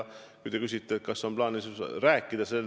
Te küsite, kas mul on plaanis temaga sel teemal rääkida.